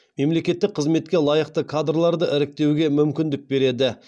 мемлекеттік қызметке лайықты кадрларды іріктеуге мүмкіндік береді